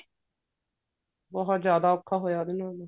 ਬਹੁਤ ਜਿਆਦਾ ਔਖਾ ਹੋਇਆ ਬੀ ਉਹਨੂੰ